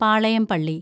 പാളയം പള്ളി